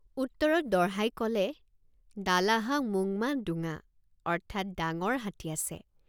উত্তৰত দঢ়াই কলে দালাহা মোংমা দোঙা অৰ্থাৎ ডাঙৰ হাতী আছে।